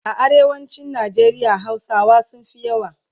A arewacin Nigeria hausawa sunfi yawa